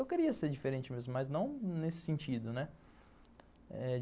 Eu queria ser diferente mesmo, mas não nesse sentido, né?